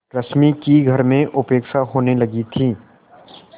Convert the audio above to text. रश्मि की घर में उपेक्षा होने लगी थी